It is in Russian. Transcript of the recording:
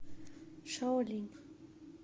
шаолинь